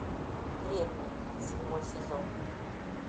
древние седьмой сезон